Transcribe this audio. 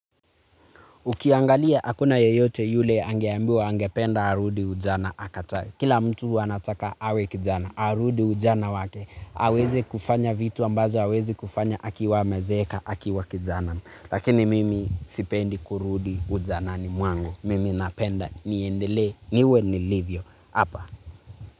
Ukiangalia akuna yoyote yule angeambiwa angependa arudi ujana akataye. Kila mtu anataka awe kijana. Arudi ujana wake. Aweze kufanya vitu ambazo hawezi kufanya akiwa amezeeka akiwa kijana. Lakini mimi sipendi kurudi ujanani mwangu. Mimi napenda niendele niwe nilivyo. Hapa.